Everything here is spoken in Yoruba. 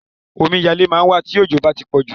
Omiyalé máa ń wà tí òjò bá tí pọ̀jù.